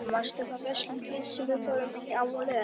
Hlini, manstu hvað verslunin hét sem við fórum í á laugardaginn?